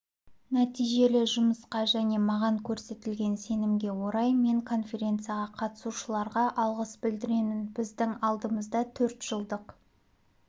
нәтижелі жұмысқа және маған көрсетілген сенімге орай мен конференцияға қатысушыларға алғыс білдіремін біздің алдымызда төрт жылдық